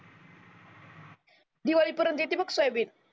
दिवाळी परेंट येते बघ सोयाबीन